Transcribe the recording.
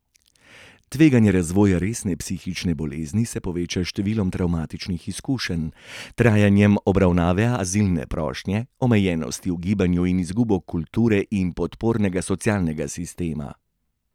Tveganje razvoja resne psihične bolezni se poveča s številom travmatičnih izkušenj, trajanjem obravnave azilne prošnje, omejenosti v gibanju in izgubo kulture in podpornega socialnega sistema.